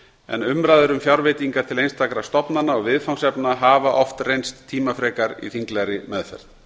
en umræður um fjárveitingar til einstakra stofnana og viðfangsefna hafa oft reynst tímafrekar í þinglegri meðferð